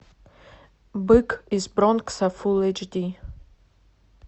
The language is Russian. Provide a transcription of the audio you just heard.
бык из бронкса фул эйч ди